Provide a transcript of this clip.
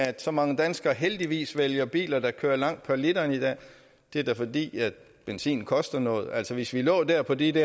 at så mange danskere heldigvis vælger biler der kører langt på literen i dag det er da fordi benzinen koster noget altså hvis vi lå der på de